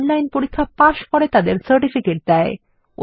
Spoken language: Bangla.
যারা অনলাইন পরীক্ষা পাস করে তাদের সার্টিফিকেট দেয়